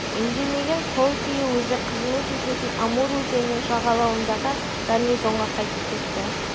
үндемеген сол күйі өзі қызмет ететін амур өзенінің жағалауындағы гарнизонға қайтып кетті